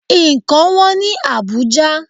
Ǹkan wọ́n ní Àbújá.